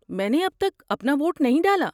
میں نے اب تک اپنا ووٹ نہیں ڈالا۔